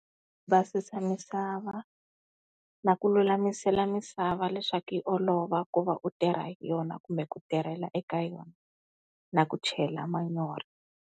Va susa misava na ku lulamisela misava leswaku yi olova ku va u tirha hi yona kumbe ku tirhela eka yona na ku chela manyoro.